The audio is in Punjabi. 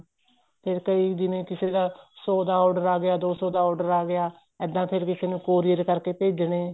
ਫ਼ੇਰ ਕਈ ਜਿਵੇਂ ਕਿਸੇ ਦਾ ਸੋ ਦਾ order ਆ ਗਿਆ ਦੋ ਸੋ ਦਾ order ਆ ਗਿਆ ਇੱਦਾ ਫ਼ੇਰ ਕਿਸੇ ਨੂੰ courier ਕਰਕੇ ਭੇਜਣੇ